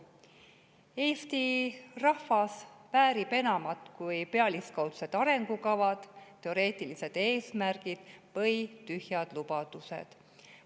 Eesti rahvas väärib enamat kui pealiskaudsed arengukavad, teoreetilised eesmärgid või tühjad lubadused.